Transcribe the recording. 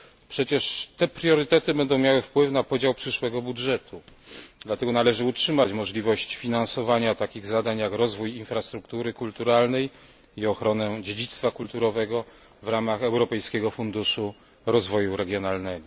Przecież te priorytety będą miały wpływ na podział przyszłego budżetu, dlatego należy utrzymać możliwość finansowania takich zadań jak rozwój infrastruktury kulturalnej i ochronę dziedzictwa kulturowego w ramach Europejskiego Funduszu Rozwoju Regionalnego.